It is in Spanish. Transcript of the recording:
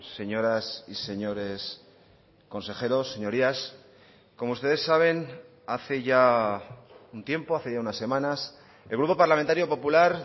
señoras y señores consejeros señorías como ustedes saben hace ya un tiempo hace ya unas semanas el grupo parlamentario popular